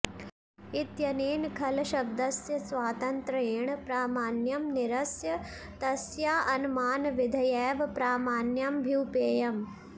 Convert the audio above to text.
इत्यनेन खल शब्दस्य स्वातन्त्र्येण प्रामाण्यं निरस्य तस्याऽनमानविधयैव प्रामाण्यमभ्युपेयम्